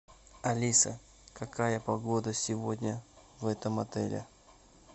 алиса какая погода сегодня в этом отеле